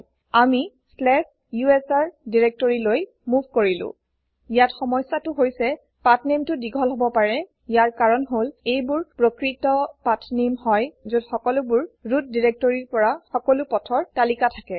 আমি slash USR directoryলৈ move কৰিলো ইয়াত সমস্যাটো হৈছে pathnamesটো দীঘল হব পাৰে ইয়াৰ কাৰণ হল এইবোৰ প্ৰকৃত পাঠনামে হয় যত সকলোবোৰ ৰুট directoryৰ পৰা সকলো পথৰ তালিকা থাকে